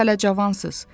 Siz hələ cavansız.